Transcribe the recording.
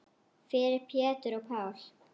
Fyrir Pétur og Pál.